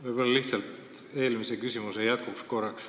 Küsin lihtsalt korraks eelmise küsimuse jätkuks.